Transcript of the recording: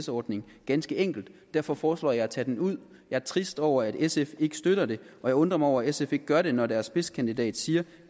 ordning ganske enkelt og derfor foreslår jeg at tage den ud jeg er trist over at sf ikke støtter det og jeg undrer mig over at sf ikke gør det når deres spidskandidat siger